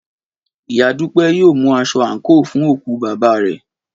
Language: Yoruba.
Ìyá Dúpẹ́ yóò mú aṣọ àǹkóò fún òkú bàbá rẹ̀